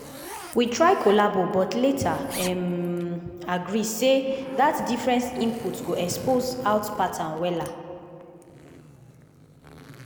we try collabo but later um agree say dat different inpute go expose out pattern wella.